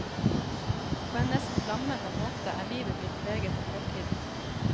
På en nesten lammende måte er livet blitt preget av fortiden.